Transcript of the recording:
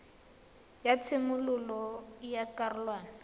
la tshimololo ya karolwana ya